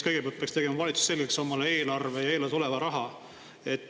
Kõigepealt peaks tegema valitsus omale selgeks eelarve ja eelarves oleva raha.